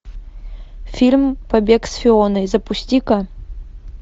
фильм побег с фионой запусти ка